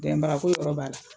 Dɛmɛbaga ko yɔrɔ b'a la.